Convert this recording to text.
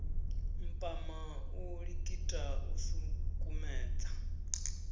mpama u likita u sukumedza